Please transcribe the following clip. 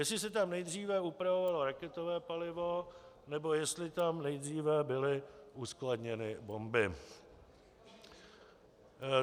Jestli se tam nejdříve upravovalo raketové palivo, anebo jestli tam nejdříve byly uskladněny bomby.